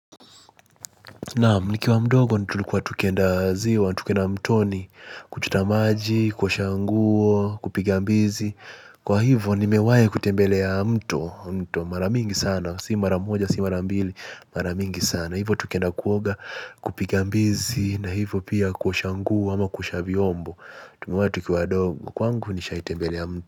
Naam nikiwa mdogo, nitulikuwa tukienda ziwa, tukienda mtoni, kuchotamaji, kuosha nguo, kupigambizi, kwa hivyo nimewai kutembelea mto, mto, mara mingi sana, si mara moja, si mara mbili, mara mingi sana, hivyo tuksenda kuoga, kupiga mbizi, na hivyo pia kuosha nguo, ama kuoshavyombo, tukiwa wadogo, kwangu nisha tembelea mto.